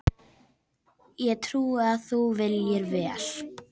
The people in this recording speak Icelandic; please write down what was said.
Ég trúi að þú viljir vel.